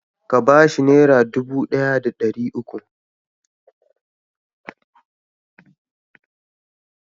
Ka ba shi Naira dubu ɗaya da ɗari uku.